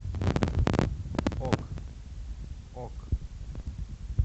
ок ок